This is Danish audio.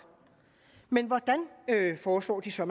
men hvordan foreslår de så